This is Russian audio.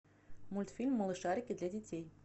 мультфильм малышарики для детей